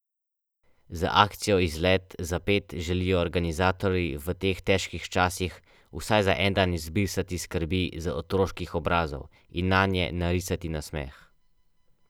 Pavšalno obdavčitev omogočata tako zakon o dohodnini kot zakon o davku od dohodkov pravnih oseb.